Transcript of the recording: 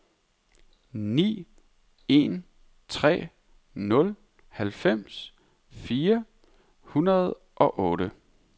ni en tre nul halvfems fire hundrede og otte